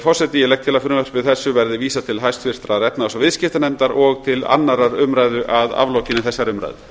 ég legg til að frumvarpi þessu verði vísað til háttvirtrar efnahags og viðskiptanefndar og til annarrar umræðu að aflokinni þessari umræðu